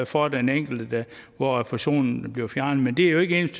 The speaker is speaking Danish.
for den enkelte der hvor refusionen bliver fjernet men det er jo ikke